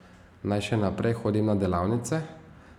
Naj še naprej hodim na delavnice?